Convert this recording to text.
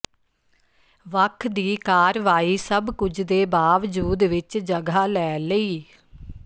ਵੱਖ ਦੀ ਕਾਰਵਾਈ ਸਭ ਕੁਝ ਦੇ ਬਾਵਜੂਦ ਵਿਚ ਜਗ੍ਹਾ ਲੈ ਲਈ